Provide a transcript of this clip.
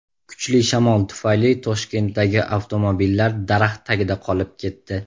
Kuchli shamol tufayli Toshkentdagi avtomobillar daraxt tagida qolib ketdi .